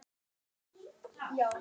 Sú besta, sem klárast alltaf.